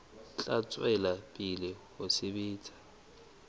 tla tswela pele ho sebetsa